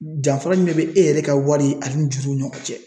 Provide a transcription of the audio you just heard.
Danfara jumɛn be e yɛrɛ ka wari ani juruw ni ɲɔgɔn cɛ?